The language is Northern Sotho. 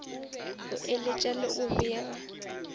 go eletša le go bega